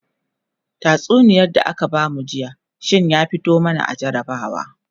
tatsuniyar da aka bamu jiya shinya fito mana a jarabawa